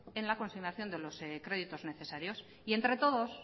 en la consignación de los créditos necesarios y entre todos